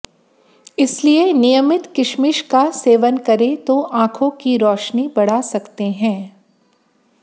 इसलिए नियमित किशमिश का सेवन करे तो आंखों की रोशनी बढ़ा सकते है